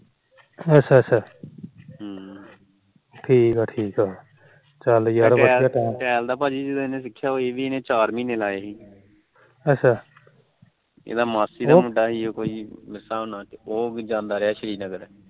tall ਦਾ ਭਾਜੀ ਜਦੋਂ ਇਹਨੇ ਸਿੱਖਿਆ ਸੀ ਉਦੋ ਇਹਨੇ ਚਾਰ ਮਹੀਨੇ ਲਾਏ ਸੀ ਇਹਦੀ ਮਾਸੀ ਦਾ ਮੁੰਡਾ ਉਹ ਜਾਂਦਾ ਰਿਹਾ ਸ਼੍ਰੀ ਨਗਰ